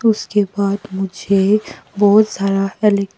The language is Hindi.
उसके बाद मुझे बहुत सारा अले--